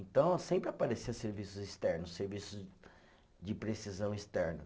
Então, sempre aparecia serviços externos, serviços de precisão externa.